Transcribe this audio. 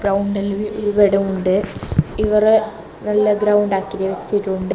ഗ്രൗണ്ടെല്ലോം ഇവിടെയുണ്ട് ഇവറെ നല്ല ഗ്രൗണ്ട് ആക്കി വെച്ചിട്ടുണ്ട്.